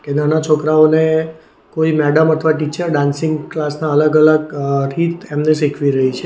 નાના છોકરાઓને કોઈ મેડમ અથવા ટીચર ડાન્સિંગ ક્લાસ ના અલગ અલગ અહ રીત એમને શીખવી રહી છે.